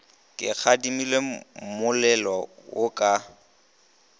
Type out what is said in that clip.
o kgadile mmolelo wo ka